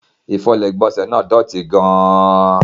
Ifọlé ilẹ̀ igbónsẹ̀ náà dọ́tì gán-an.